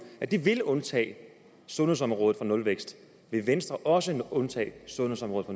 at de vil undtage sundhedsområdet for nulvækst vil venstre også undtage sundhedsområdet